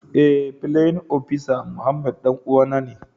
Eh playin opisa Muhammad danuwan na ne.